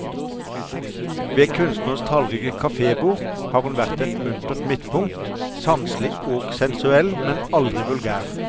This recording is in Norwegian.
Ved kunstnernes tallrike kafébord, har hun vært et muntert midtpunkt, sanselig og sensuell, men aldri vulgær.